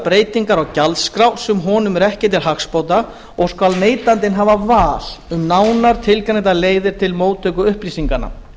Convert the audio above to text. breytingar á gjaldskrá sem honum eru ekki til hagsbóta og skal neytandi hafa val um nánar tilgreindar leiðir til móttöku upplýsinganna